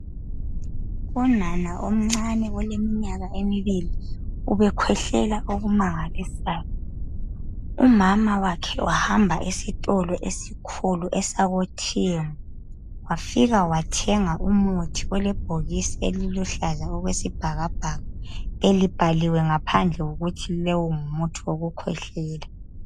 Unana omncane oleminyaka emibili ubekhwehlela okumangalisayo umama wakhe wahamba esitolo esikhulu esakoTM wafika wathenga umuthi olebhokisi eliluhlaza okwesibhakabhaka elibhaliwe ngaphandle ukuthi lowu ngumuthi wokukhwehlela.